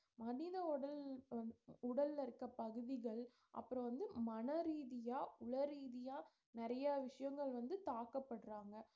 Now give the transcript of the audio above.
மனித உடல்~ உடல்ல இருக்க பகுதிகள் அப்புறம் வந்து மனரீதியா உளரீதியா நிறைய விஷயங்கள் வந்து தாக்கப்படுறாங்க